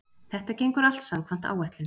Þetta gengur allt samkvæmt áætlun